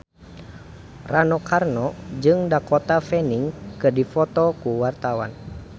Rano Karno jeung Dakota Fanning keur dipoto ku wartawan